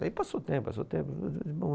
Daí passou tempo, passou o tempo.